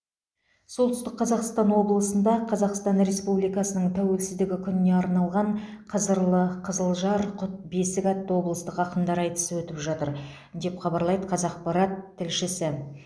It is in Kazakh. солтүстік қазақстан облысында қазақстан республикасының тәуелсіздігі күніне арналған қызырлы қызылжар құт бесік атты облыстық ақындар айтысы өтіп жатыр деп хабарлайды қазақпарат тілшісі